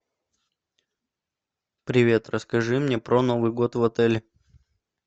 привет расскажи мне про новый год в отеле